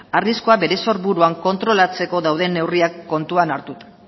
arriskua bere sorburuan kontrolatzeko dauden neurriak kontutan hartuta